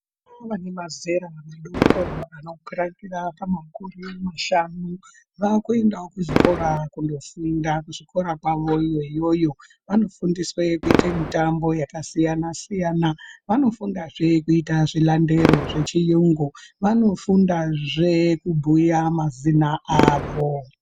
Vana vane mazera madoko anokwiratira pamakumi mashanu vava kuendawo kuzvikora kunofunda kuzvikora kwavo iyoyoyo. Vanofundiswe kuite mitambo yakasiyana siyana, vanofundazve kuita zvilandero zvechiyungu, vanofundazve kubhuya mazina avo.